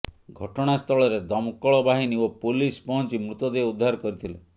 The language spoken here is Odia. ଘଟଣାସ୍ଥଳରେ ଦମକଳ ବାହିନୀ ଓ ପୋଲିସ ପହଞ୍ଚି ମୃତଦେହ ଉଦ୍ଧାର କରିଥିଲେ